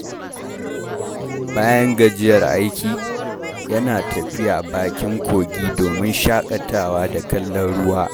Bayan gajiyar aiki, yana tafiya bakin kogi domin shakatawa da kallon ruwa.